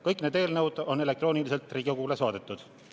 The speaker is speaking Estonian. Kõik need eelnõud on elektrooniliselt Riigikogule saadetud.